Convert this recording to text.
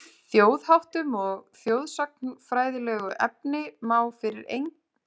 Þjóðháttum og þjóðsagnafræðilegu efni má fyrir engan mun rugla saman athugasemdalaust.